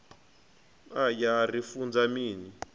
aya a ri funza mini